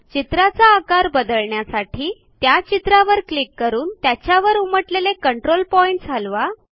चित्राचा आकार बदलण्यासाठी त्या चित्रावर क्लिक करून त्याच्यावर उमटलेले कंट्रोल पॉइंट्स हलवा